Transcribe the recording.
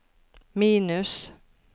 minus